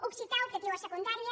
occità optatiu a secundària